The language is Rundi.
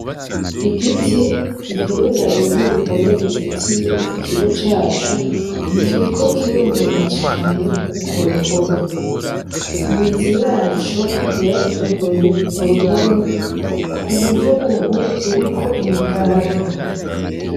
igiti gihereranye n'uruhome ruzitiye ikigo cacu kiriko kironona cane urwo ruhome. imizi yaco yaratoboye uruhome ku buryo ubu ruriko imigaga